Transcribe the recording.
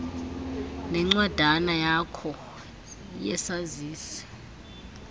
nencwadana yakho yesazisi